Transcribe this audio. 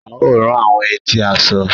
A o rán àwọn etí aṣọ.